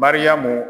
Mariyamu